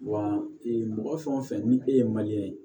Wa ee mɔgɔ fɛn o fɛn ni e ye ye